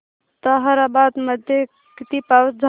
ताहराबाद मध्ये किती पाऊस झाला